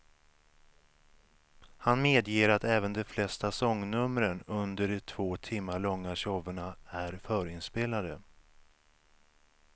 Han medger även att de flesta sångnumren under de två timmar långa showerna är förinspelade.